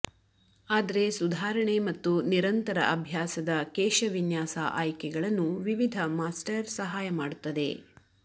ಆದರೆ ಸುಧಾರಣೆ ಮತ್ತು ನಿರಂತರ ಅಭ್ಯಾಸದ ಕೇಶವಿನ್ಯಾಸ ಆಯ್ಕೆಗಳನ್ನು ವಿವಿಧ ಮಾಸ್ಟರ್ ಸಹಾಯ ಮಾಡುತ್ತದೆ